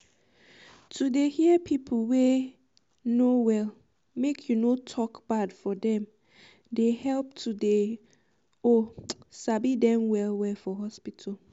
to dey hear pipu wey um no well make you no tok bad for dem dey help to dey um oohh sabi dem well well for hospital.